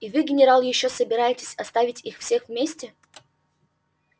и вы генерал ещё собираетесь оставить их всех вместе